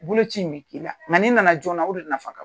Bolo ci in bi k'i la nka n'i na na jɔɔna o de nafa ka